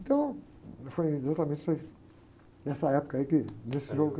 Então, foi exatamente isso aí, nessa época aí que, nesse jogo...